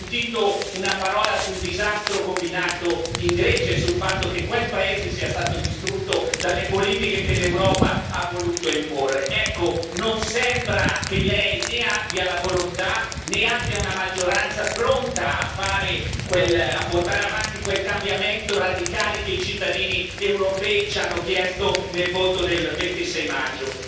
Non ho sentito una parola sul disastro combinato in Grecia e sul fatto che quel paese sia stato distrutto dalle politiche che l'Europa ha voluto imporre, ecco non sembra che Lei né abbia la volontà, né abbia una maggioranza pronta a portare avanti quel cambiamento radicale che i cittadini europei ci hanno chiesto nel voto del 26 maggio.